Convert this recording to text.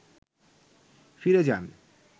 ফিরে যান